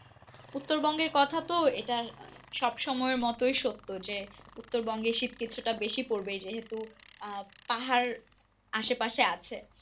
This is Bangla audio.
উত্তরবঙ্গের কথা তো এটা সব সময়য়ের মতো সত্য যে উত্তরবঙ্গে শীত কিছুটা বেশি পরবে যেহেতু আহ পাহাড় আসে পাশে আছে।